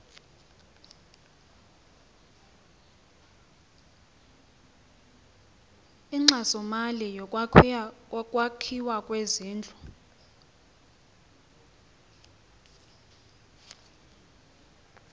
inkxasomali yokwakhiwa kwezindlu